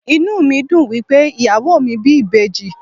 Inú mi dùn wípé ìyàwó mi bí ìbejì.